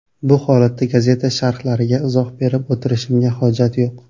Bu holatda gazeta sharhlariga izoh berib o‘tirishimga hojat yo‘q.